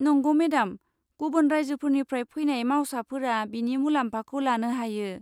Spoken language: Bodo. नंगौ मेडाम, गुबुन रायजोफोरनिफ्राय फैनाय मावसाफोरा बेनि मुलाम्फाखौ लानो हायो।